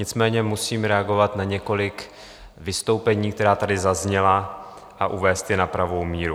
Nicméně musím reagovat na několik vystoupení, která tady zazněla, a uvést je na pravou míru.